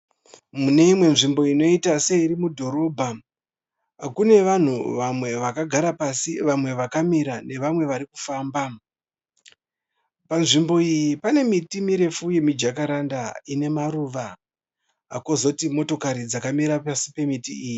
Mune imwe nzvimbo inoita seiri mudhorobha kune vanhu vame vakagara pasi vamwe vakamira nevamwe varikufamba. Pazvimbo iyi pane miti mirefu yemijakaranda ine maruva. Kozoti motokari dzakamira pasi pemiti iyi.